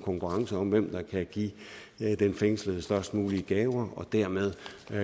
konkurrence om hvem der kan give den fængslede størst mulige gaver og dermed